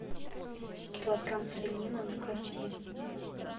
килограмм свинины на кости